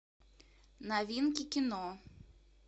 новинки кино